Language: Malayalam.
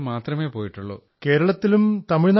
E have visited only Kerala and Tamil Nadu